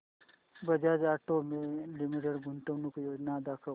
Bajaj auto limited गुंतवणूक योजना दाखव